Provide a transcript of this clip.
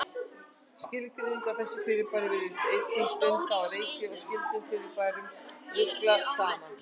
Skilgreiningin á þessu fyrirbæri virðist einnig stundum á reiki og skyldum fyrirbærum ruglað saman.